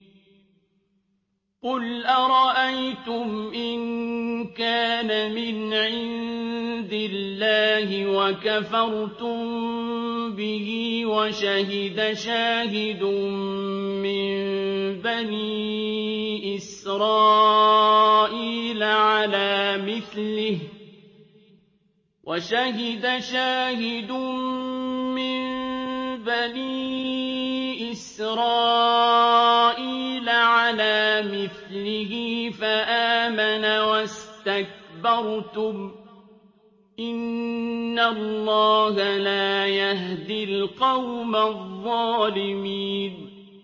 قُلْ أَرَأَيْتُمْ إِن كَانَ مِنْ عِندِ اللَّهِ وَكَفَرْتُم بِهِ وَشَهِدَ شَاهِدٌ مِّن بَنِي إِسْرَائِيلَ عَلَىٰ مِثْلِهِ فَآمَنَ وَاسْتَكْبَرْتُمْ ۖ إِنَّ اللَّهَ لَا يَهْدِي الْقَوْمَ الظَّالِمِينَ